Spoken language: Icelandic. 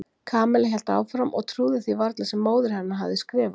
Kamilla hélt áfram og trúði því varla sem móðir hennar hafði skrifað.